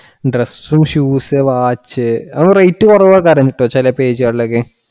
Dress, shoes, watch rate കുറവാ ചില കാര്യങ്ങൾക്കു ചില page കളിൽ ഒക്കെ